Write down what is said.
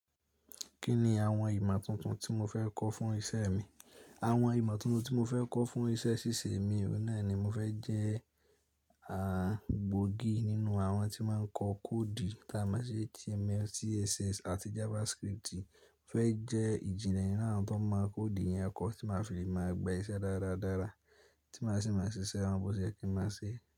Kí ni àwọn ìmọ̀ tuntun tí mo fẹ́ kọ́ fún iṣẹ́ mi? Àwọn ìmọ̀ tuntun tí mo fẹ́ kọ́ fún iṣẹ́ ṣíṣe mi, òní ni mo fẹ́ jẹ́ à gbógi nínú àwọn tí máa ń kọ koodi táa máa ṣi HTML, CSS àti JavaScript. Mo fẹ́ jẹ́ ìjìnlẹ̀ nínú àwọn tó mọ koodi yẹn kọ tí màá fi máa gba iṣẹ́ dáadáa, tí màá sì máa ṣiṣẹ́ wọn bose yẹ kí ń máa ṣe.